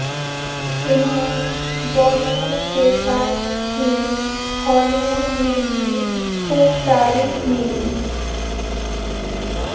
انہیں Bollywood کے ساتھ ہی ہالی وڈ میں بھی خوب تعریف ملی